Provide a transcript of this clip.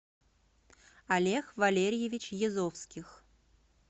олег валерьевич язовских